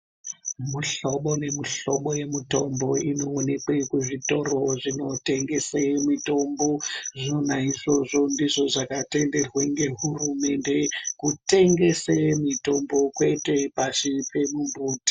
Mihlobo nemihlobo yemitombo inoonekwe kuzvitoro zvinotengese mitombo zvona izvozvo ndizvo zvakatenderwa ngehurumende kutengese mitombo kwete pasi pemumbuti...